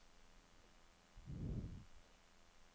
bankaksjer